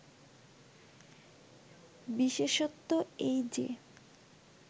বিশেষত্ব এই যে